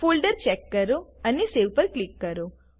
folder check કરો અને save પર ક્લિક કરો